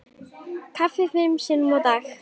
Kaffi fimm sinnum á dag.